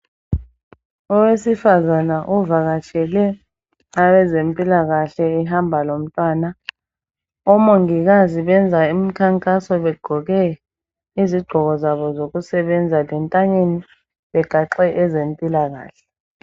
Owesifazana uvakatshele abezempikahle ehamba lomntwana. Omongikazi banza imikhankaso begqoke izigqoko zabo zokusebenza lentanyeni begaxe ezempilakahle.